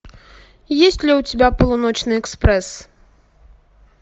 есть ли у тебя полуночный экспресс